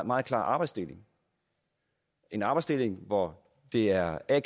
meget klar arbejdsdeling en arbejdsdeling hvor det er a